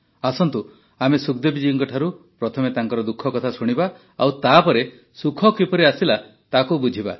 ଆସନ୍ତୁ ଆମେ ସୁଖଦେବୀ ଜୀଙ୍କଠାରୁ ପ୍ରଥମେ ତାଙ୍କ ଦୁଃଖ କଥା ଶୁଣିବା ଆଉ ତାପରେ ସୁଖ କିପରି ଆସିଲା ତାକୁ ବୁଝିବା